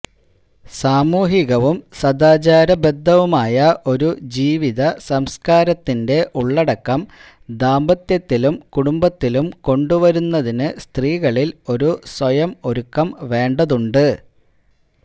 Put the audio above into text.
സാമൂഹികവും സദാചാര ബദ്ധവുമായ ഒരു ജീവിത സംസ്കാരത്തിന്റെ ഉള്ളടക്കം ദാമ്പത്യത്തിലും കുടംബത്തിലും കൊണ്ടുവരുന്നതിന് സ്ത്രീകളില് ഒരു സ്വയം ഒരുക്കം വേണ്ടതുണ്ട്